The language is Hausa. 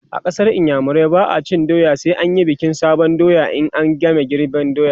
a ƙasar iyamurai ba'a cin doya sai an Yi bikin sabon doya in an game girban doya